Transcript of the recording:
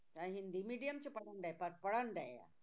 ਚਾਹੇ ਹਿੰਦੀ medium 'ਚ ਪੜ੍ਹਣਡੇ ਪਰ ਪੜ੍ਹਣਡੇ ਆ